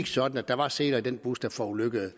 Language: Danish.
sådan at der var seler i den bus der forulykkede